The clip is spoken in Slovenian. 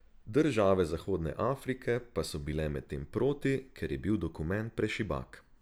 Države Zahodne Afrike pa so bile medtem proti, ker je bil dokument prešibak.